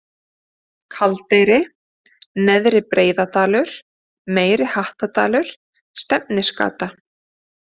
Kaldeyri, Neðri Breiðadalur, Meiri-Hattardalur, Stefnisgata